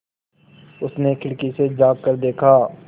उसने खिड़की से झाँक कर देखा